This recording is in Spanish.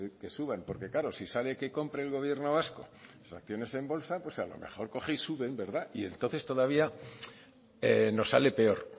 que suban porque claro si sale que compre el gobierno vasco las acciones en bolsa pues a lo mejor coge y suben y entonces todavía nos sale peor